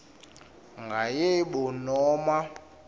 nga yebo noma